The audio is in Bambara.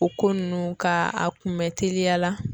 O ko nunnu ka a kunbɛ teliya la